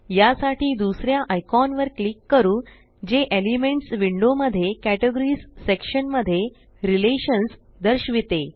यासाठी दुसर्या आयकॉन वर क्लिक करू जे एलिमेंट्स विंडो मध्ये कॅटेगरीज सेक्शन मध्ये रिलेशन्स दर्शविते